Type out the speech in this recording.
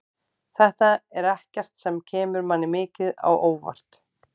Þetta er ekkert sem kemur manni mikið á óvart.